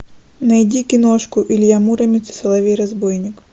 найди киношку илья муромец и соловей разбойник